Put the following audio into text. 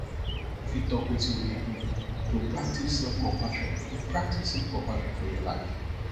you fit talk wetin you dey do to practice selfcompassion to practice selfcompassion for your life